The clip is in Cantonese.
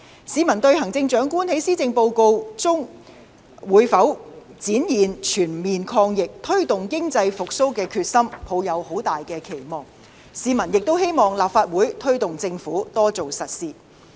市民對行政長官在施政報告中會否展現全面抗疫、推動經濟復蘇的決心，抱有極大期望，市民亦希望立法會推動政府多做實事。